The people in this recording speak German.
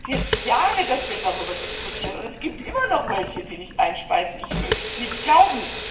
Es sind jetzt Jahre, dass wir darüber diskutieren, und es gibt immer noch welche, die nicht einspeisen ich möchte es nicht glauben!